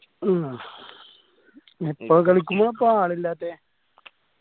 ആ എപ്പ കളിക്കുമ്പോഴാ അപ്പൊ ആളില്ലാത്തെ